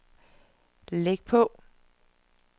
læg på